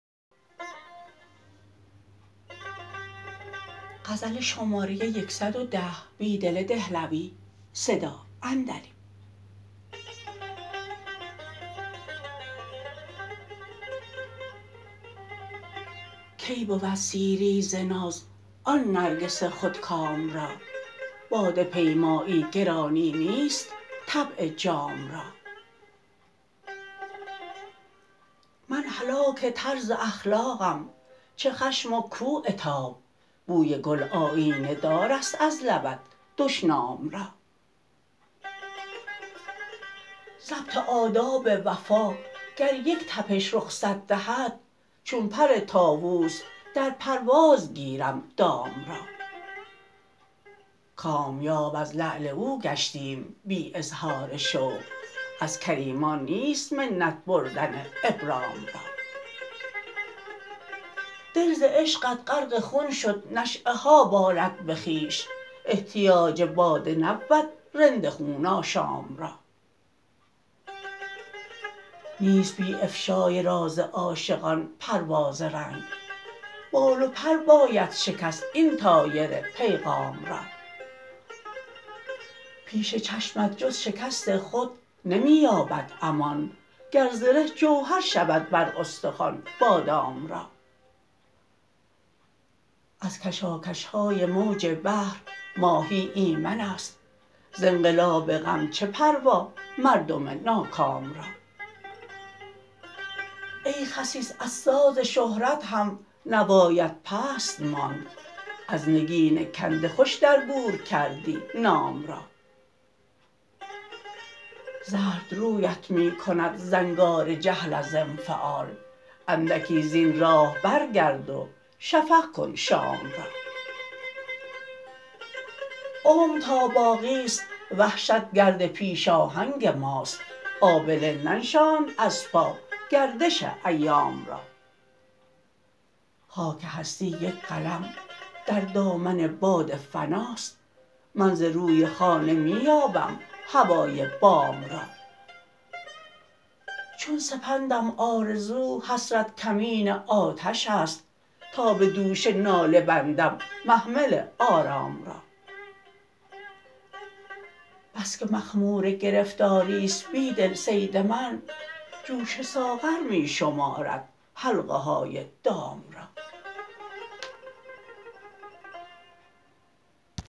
کی بود سیری ز ناز آن نرگس خودکام را باده پیمایی گرانی نیست طبع جام را من هلاک طرزاخلاقم چه خشم وکوعتاب بوی گل آیینه دار است از لبت دشنام را ضبط آداب وفاگریک تپش رخصت دهد چون پر طاووس در پروازگیرم دام را کامیاب از لعل اوگشتیم بی اظهار شوق ازکریمان نیست منت بردن ابرام را دل زعشقت غرق خون شد نشیه هابالدبه خویش احتیاج باده نبود رند خون آشام را نیست بی افشای راز عاشقان پرواز رنگ بال و پر باید شکست این طایر پیغام را پیش چشمت جزشکست خود نمی یابد امان گر زره جوهر شود بر استخوان بادام را ازکشاکشهای موج بحر ماهی ایمن است ز انقلاب غم چه پروا مردم ناکام را ای خسیس ازسازشهرت هم نوایت پست ماند از نگین کنده خوش درگورکردی نام را زرد رویت می کند زنگار جهل از انفعال اندکی زین راه برگرد و شفق کن شام را عمرتاباقی ست وحشت گرد پیشاهنگ ماست آبله ننشاند از پاگردش ایام را خاک هستی یک قلم در دامن باد فناست من ز روی خانه می یابم هوای بام را چون سپندم آرزوحسرت کمین آتش ست تا به دوش ناله بندم محمل آرام را بسکه مخمورگرفتاری ست بیدل صید من جوش ساغر می شمارد حلقه های دام را